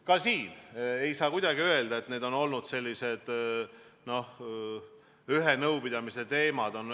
Ka siin ei saa kuidagi öelda, et need on olnud sellised ühe nõupidamise teemad.